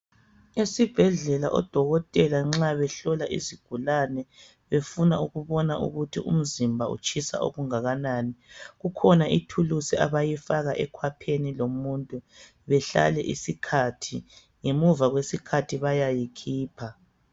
Esibhedlela odokotela nxa behlola izigulane, befuna ukubona ukuthi umzimba utshisa okungakanani, kukhona ithulusi abayifaka ekhwapheni lomuntu, behlale isikhathi. Ngemuva kwesikhathi bayayikhipha.